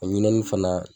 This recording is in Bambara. O ɲinɛni fana